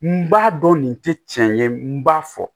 N b'a dɔn nin tɛ tiɲɛ ye n b'a fɔ